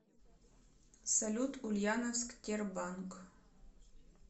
салют ульяновск тербанк